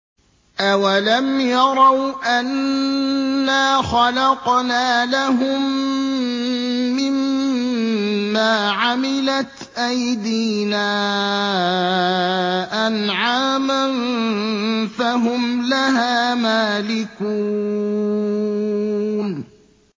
أَوَلَمْ يَرَوْا أَنَّا خَلَقْنَا لَهُم مِّمَّا عَمِلَتْ أَيْدِينَا أَنْعَامًا فَهُمْ لَهَا مَالِكُونَ